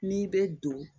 N'i bɛ don